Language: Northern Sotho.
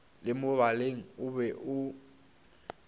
le molebaleng o be o